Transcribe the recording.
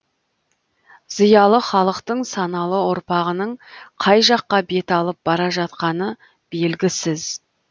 зиялы халықтың саналы ұрпағының қай жаққа бет алып бара жатқаны белгісіз